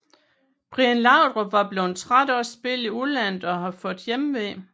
Brian Laudrup var blevet træt af at spille i udlandet og havde fået hjemve